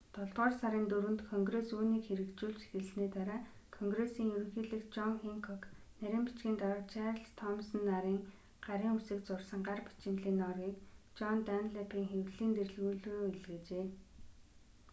долдугаар сарын 4-нд конгресс үүнийг хэрэгжүүлж эхэлсэний дараа конгрессийн ерөнхийлөгч жон хэнкок нарийн бичгийн дарга чарльз томсон нарын гарын үсэг зурсан гар бичмэлийн нооргийг жон данлэпийн хэвлэлийн дэлгүүр лүү илгээжээ